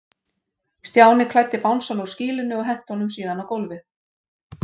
Stjáni klæddi bangsann úr skýlunni og henti honum síðan á gólfið.